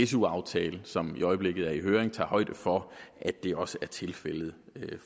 su aftale som i øjeblikket er i høring tager højde for at det også tilfældet